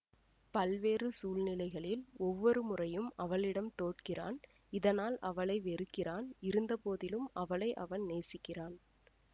பல்வேறு சூழ்நிலைகளில் ஒவ்வொரு முறையும் அவளிடம் தோற்கிறான் இதனால் அவளை வெறுக்கிறான் இருந்தபோதிலும் அவளை அவன் நேசிக்கிறான்